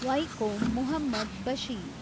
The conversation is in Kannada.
ವೈಕೋಮ್ ಮುಹಮ್ಮದ್ ಬಶೀರ್